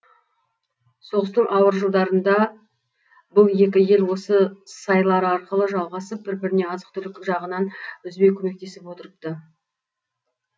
соғыстың ауыр жылдарында бұл екі ел осы сайлар арқылы жалғасып бір біріне азық түлік жағынан үзбей көмектесіп отырыпты